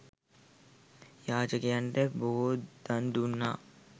යාචකයන්ට බොහෝ දන් දුන්නා.